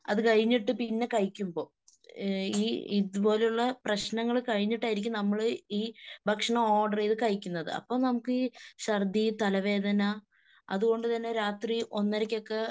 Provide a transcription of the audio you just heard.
അത് കഴിഞ്ഞിട്ട് പിന്നെ കഴിക്കുമ്പൊ. ഈ ഇതുപോലുള്ള പ്രശ്നങ്ങൾ കഴിഞ്ഞിട്ടായിരിക്കും നമ്മള് ഈ ഭക്ഷണം ഓർഡർ ചെയ്ത് കഴിക്കുന്നത്. അപ്പൊ ഛർദി തലവേദന അതുകൊണ്ടുതന്നെ രാത്രി ഒന്നരക്കൊക്കെ